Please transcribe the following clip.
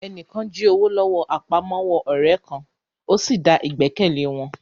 Ẹni kan jí owó lọ́wọ́ àpamọ́wọ́ ọ̀rẹ́ kan, ó sì da ìgbẹ́kẹ̀lé wọn